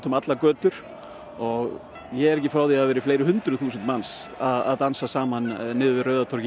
um allar götur ég er ekki frá því hafi verið fleiri hundruð þúsund manns að dansa saman niður Rauða torgið